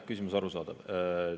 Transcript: Küsimus on arusaadav.